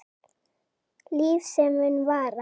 Líf sem mun vara.